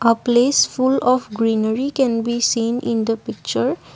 a place full of greenery can be seen in the picture.